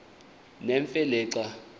nemfe le xa